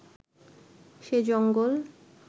সে জঙ্গল